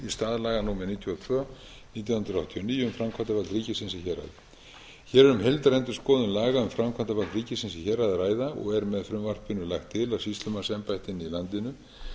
stað laga númer níutíu og tvö nítján hundruð þrjátíu og níu um framkvæmdarvald ríkisins í héraði hér er um heildarendurendurskoðun laga um framkvæmdarvald ríkisins í héraði að ræða og er með frumvarpinu lagt til að sýslumannsembættin í landinu